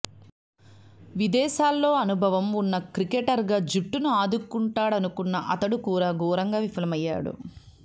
విదేశాల్లో అనుభవం ఉన్న క్రికెటర్గా జట్టును ఆదుకుం టాడనుకున్న అతడు కూడా ఘోరంగా విఫలమయ్యాడు